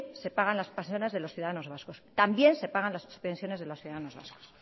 se pagan las pensiones de los ciudadanos vascos también se pagan las pensiones de los ciudadanos vascos